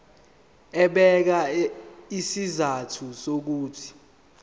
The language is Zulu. ebeka izizathu zokuthi